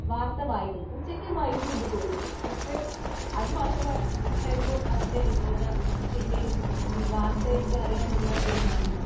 Speaker 2 വാർത്തകൾ വായിക്കും. ഉച്ചക്കും വായിക്കുമെന്നു തോന്നുന്നു പക്ഷെ അത് മാത്രമായിരുന്നു അവരുടെ വിനോദവും വാർത്തകൾ അറിയാനുള്ള ഒരു മാധ്യമവും